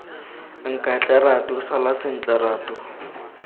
nkatle ratu sala sentle ratu